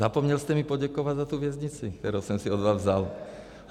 Zapomněl jste mi poděkovat za tu věznici, kterou jsem si od vás vzal.